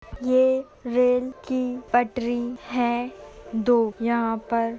ये रेल की पटरी है दो यहाँ पर --